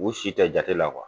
U b'u si kɛ jate la